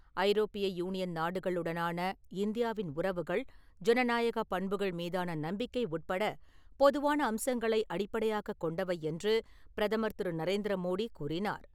ஐரோப்பிய யூனியன் நாடுகள் உடனான இந்தியாவின் உறவுகள், ஜனநாயகப் பண்புகள் மீதான நம்பிக்கை உட்பட பொதுவான அம்சங்களை அடிப்படையாகக் கொண்டவை என்று பிரதமர் திரு. நரேந்திர மோடி கூறினார்.